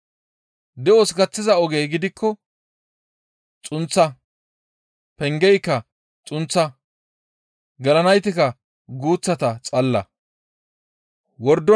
De7os gaththiza ogey gidikko xunththa; pengeyka xunththa; gelanaytikka guuththata xalla.